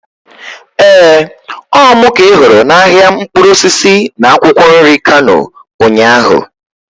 Ee, Ọ mụ ka ị hụrụ n'ahịa mkpụrụ osisi na akwụkwọ nri Kano ụnyaahụ.